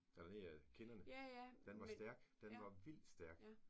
Eller nedad kinderne. Den var stærk. Den var vildt stærk